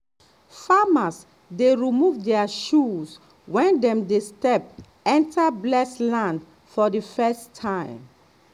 farmers dey remove their shoes when dem dey step enter blessed land for the first time.